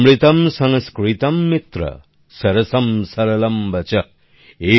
অমৃতম সংস্কৃতম মিত্র সরসম সরলম বচঃ